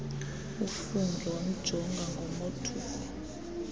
ufungie wamjonga ngomothuko